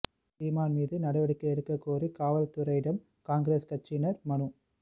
சீமான் மீது நடவடிக்கை எடுக்கக் கோரி காவல் துறையிடம் காங்கிரஸ் கட்சியினா் மனு